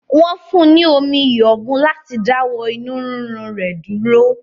Wọn fún ní omi iyọ̀ mu láti dáwọ inú rírun rẹ̀ dúró